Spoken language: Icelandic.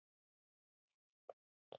Ég veit það ekki